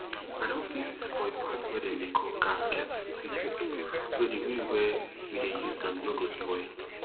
i don fix di spoil part wey dem dey call gasket quick quick so di way wey we dey use am no go spoil